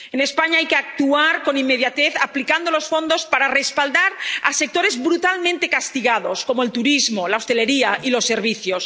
En España hay que actuar con inmediatez, aplicando los fondos para respaldar a sectores brutalmente castigados como el turismo, la hostelería y los servicios.